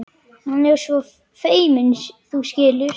Hann er svo feiminn, þú skilur.